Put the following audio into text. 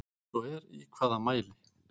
Ef svo er í hvaða mæli?